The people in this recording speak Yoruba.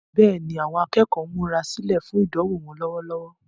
Bẹ́ẹ̀ni, àwọn akẹ́kọ̀ọ́ ń múra sílẹ̀ fún ìdánwò wọn lọ́wọ́lọ́wọ́.